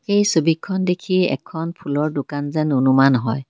এই ছবিখন দেখিয়ে এখন ফুলৰ দোকান যেন অনুমান হয়।